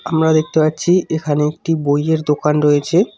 আমরা দেখতে পাচ্ছি এখানে একটি বইয়ের দোকান রয়েছে।